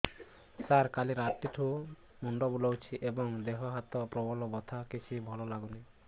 ସାର କାଲି ରାତିଠୁ ମୁଣ୍ଡ ବିନ୍ଧୁଛି ଏବଂ ଦେହ ହାତ ପ୍ରବଳ ବଥା କିଛି ଭଲ ଲାଗୁନି